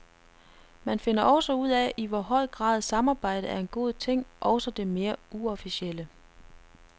Man finder også ud af i hvor høj grad samarbejde er en god ting, også det mere uofficielle.